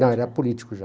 Não, era político já.